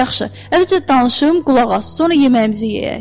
Yaxşı, əvvəlcə danışım, qulaq as, sonra yeməyimizi yeyək.